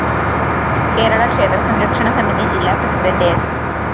കേരള ക്ഷേത്ര സംരക്ഷണ സമിതി ജില്ലാ പ്രസിഡന്റ് സ്‌